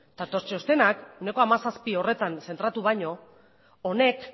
eta txostenak ehuneko hamazazpi horretan zentratu baino honek